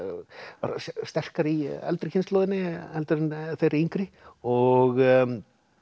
var sterkari í eldri kynslóðinni heldur en þeirri yngri og